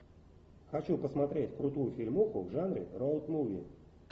хочу посмотреть крутую фильмуху в жанре роуд муви